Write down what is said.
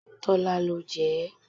Tọ́lá ló jẹ ẹ́.